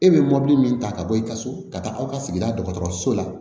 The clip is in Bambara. E bɛ mɔbili min ta ka bɔ i ka so ka taa aw ka sigida dɔgɔtɔrɔso la